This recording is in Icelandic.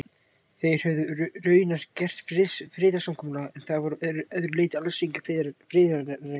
Þeir höfðu raunar gert friðarsamkomulag, en voru að öðru leyti alls engir friðarenglar.